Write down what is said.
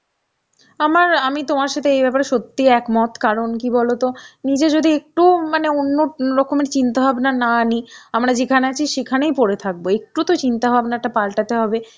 আমার আমি তোমার সাথে এইব্যাপারে সত্যিই একমত, কারণ কি বলতো নিজে যদি একটুও মানে ওন্য রকমের চিন্তাভাবনা না নি, আমরা যেখানে আছি সেখানেই পরে থাকব. একটু তো চিন্তাভাবনা টা পাল্টাতে হবে